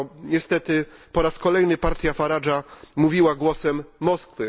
Niestety po raz kolejny partia Farage'a mówiła głosem Moskwy.